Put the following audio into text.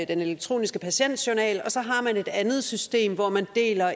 den elektroniske patientjournal og et andet system hvor man deler